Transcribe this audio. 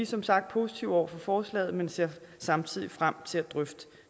som sagt positive over for forslaget men ser samtidig frem til at drøfte